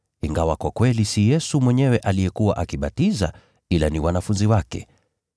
ingawa kwa kweli si Yesu mwenyewe aliyekuwa akibatiza, ila ni wanafunzi wake.